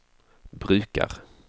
brukar